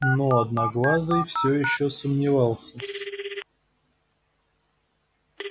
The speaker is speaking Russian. но одноглазый всё ещё сомневался